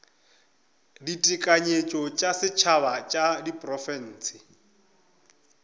ditekanyetšo tša setšhaba tša diprofense